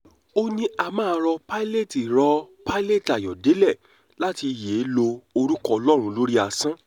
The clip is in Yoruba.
ó ní mà á rọ piñate rọ piñate ayọ̀dẹ̀lẹ̀ láti yéé lo orúkọ ọlọ́run lórí asán